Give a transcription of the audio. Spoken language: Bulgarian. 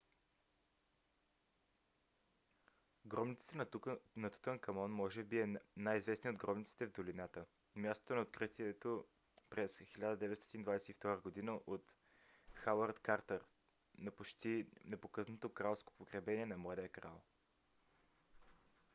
гробницата на тутанкамон kv62. kv62 може би е най-известният от гробниците в долината мястото на откритието през 1922 г. от хауърд картър на почти непокътнато кралско погребение на младия крал